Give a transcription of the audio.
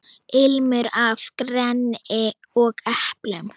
Ilmur af greni og eplum.